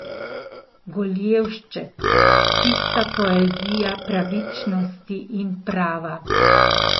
Goljevšček, čista poezija pravičnosti in prava!